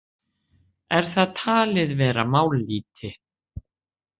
Er það talið vera mállýti?